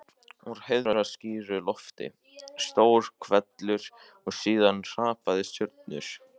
Úr heiðskíru lofti: stór hvellur og síðan hrapandi stjörnur.